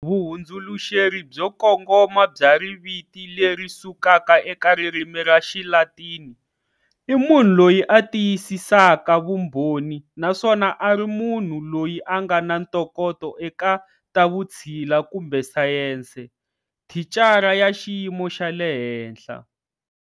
Vuhundzuluxeri byo kongoma bya riviti lerisukaka eka ririmi ra xilatini,"i munhu loyi a tiyisisaka vumbhoni" naswona a ri monhu loyi a ngana ntokoto eka tavutshila kumbe sayensi, thicara ya xiyimo xa le henhla.